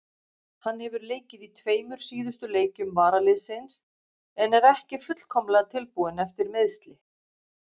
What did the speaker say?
Hann hefur leikið í tveimur síðustu leikjum varaliðsins en er ekki fullkomlega tilbúinn eftir meiðsli.